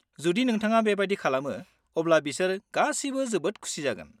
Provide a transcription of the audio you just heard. जुदि नोंथाङा बेबायदि खालामो अब्ला बिसोर गासिबो जोबोद खुसि जागोन।